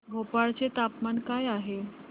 भोपाळ चे तापमान काय आहे